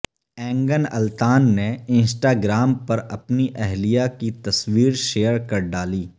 اینگن التان نے Instagram پر اپنی اہلیہ کی تصویر شئیر کر ڈالی